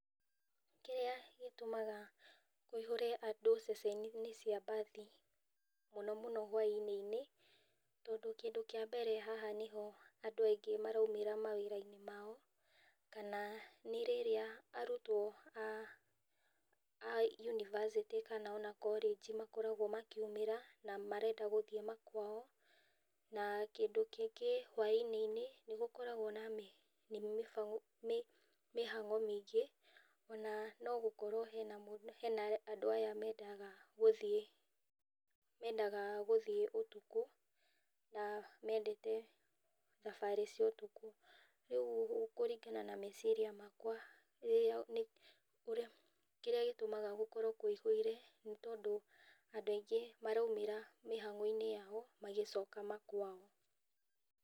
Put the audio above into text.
Kĩrĩa gĩtũmaga kũiyũre andũ mũno ceceni-inĩ cia mbathi mũno mũno hwainĩ nĩ tondũ kĩndũ kĩa mbere haha nĩho andũ aingĩ maraumĩra mawĩra-inĩ mao kana nĩ rĩrĩa arutwo a yunivacĩtĩkana ona korenji makoragwo makiumĩra na marenda gũthiĩ kwao, na kĩndũ kĩngĩ hwainĩ-inĩ nĩ gũkoragwo na mĩhang'o mĩingĩ ona okorwo harĩ andũ aya mendaga, mendaga gũthiĩ ũtukũ na mendete thabarĩ cia ũtukũ, rĩu kũringana na meciria makwa rĩrĩa, kĩrĩa gĩtũmaga gũkorwo kũiyũre nĩ tondũ andũ aingĩ maraumĩra mĩhang'o-inĩ yao magĩcoka ma kwao.